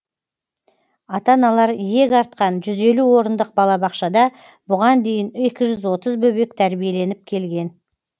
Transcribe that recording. ата аналар иек артқан жүз елу орындық балабақшада бұған дейін екі жүз отыз бөбек тәрбиеленіп келген